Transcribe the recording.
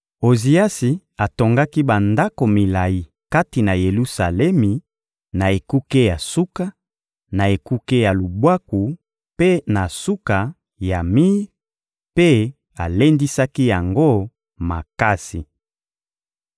Oziasi atongaki bandako milayi kati na Yelusalemi, na ekuke ya suka, na ekuke ya lubwaku mpe na suka ya mir; mpe alendisaki yango makasi.